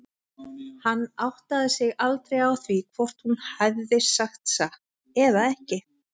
Hann áttaði sig aldrei á því hvort hún hefði sagt satt eða ekki.